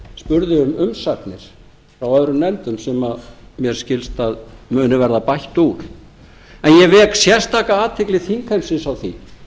um umsagnir frá öðrum nefndum sem mér skilst að muni verða bætt úr en ég vek sérstaka athygli þingheimsins á því